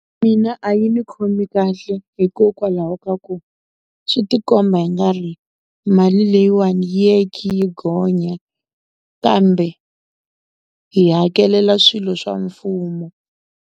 Mina a yi ni khomi kahle hikokwalaho ka ku swi ti komba i nga ri mali leyiwani yi ye yi khe yi gonya kambe hi hakelela swilo swa mfumo.